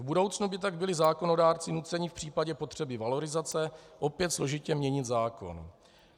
V budoucnu by tak byli zákonodárci nuceni v případě potřeby valorizace opět složitě měnit zákon.